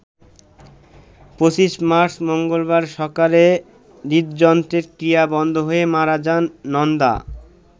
২৫ মার্চ মঙ্গলবার সকালে হৃদযন্ত্রের ক্রিয়া বন্ধ হয়ে মারা যান নন্দা।